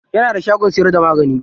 Yana da shagon siyar da magani.